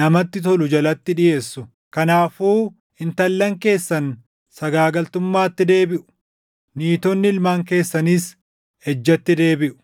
namatti tolu jalatti dhiʼeessu. Kanaafuu intallan keessan sagaagaltummaatti deebiʼu; niitonni ilmaan keessaniis ejjatti deebiʼu.